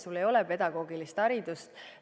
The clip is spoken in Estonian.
Neil ei ole pedagoogilist haridust.